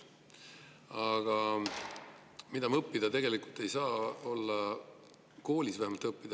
Aga mida me tegelikult õppida ei saa, vähemalt mitte koolis?